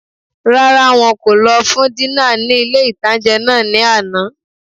Rárá, wọn kò lọ fún dínà ní ilé-ìtánjẹ náà ní àná